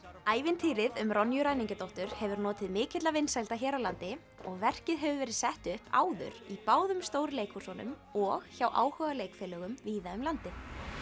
ævintýrið um Ronju ræningjadóttur hefur notið mikilla vinsælda hér á landi og verkið hefur verið sett upp áður í báðum stóru leikhúsunum og hjá áhugaleikfélögum víða um landið